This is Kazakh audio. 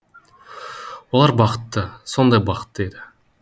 олар бақытты сондай бақытты еді